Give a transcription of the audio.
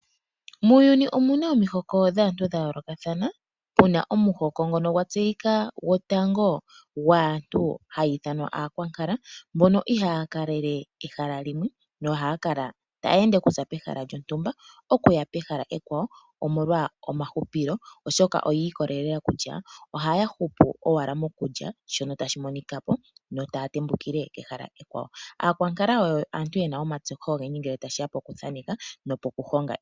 Muuyuni omu na omihoko dhaantu dha yoolokathana, puna omuhoko ngono gwa tseyika gotango gwaantu hayi ithanwa aakwankala, mbono ihaa ya kalele ehala limwe nohaya kala taya ende okuza pehala lyontumba oku ya pehala ekwawo, omolwa omahupilo oshoka oyi ikolelela kutya ohaya hupu owala mokulya shono tashi monika po, yo taya tembukile kehala ekwawo. Aakwankala oyo aantu yena omatseyo ogendji ngele tashi ya poku thaaneka nopoku honga.